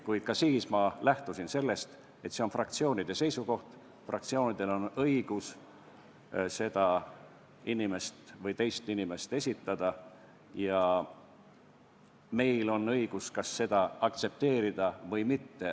Kuid ka siis olen ma lähtunud sellest, et see on fraktsiooni seisukoht, fraktsioonil on õigus seda või teist inimest esitada ja meil on õigus seda aktsepteerida või mitte.